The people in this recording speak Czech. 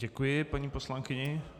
Děkuji paní poslankyni.